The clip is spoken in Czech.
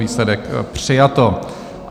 Výsledek: přijato.